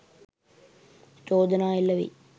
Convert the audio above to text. චෝදනා එල්ල වෙයි